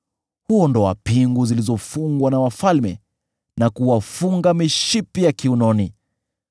Huondoa pingu zilizofungwa na wafalme, na kuwafunga mishipi ya kiunoni.